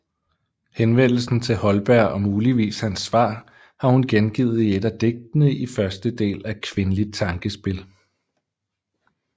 Henvendelsen til Holberg og muligvis hans svar har hun gengivet i et af digtene i første del af Qwinligt tankespel